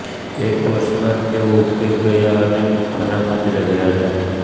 એક વર્ષ બાદ તેઓ ઉકેક ગયા અને બુખારામાં જ રહ્યા હતા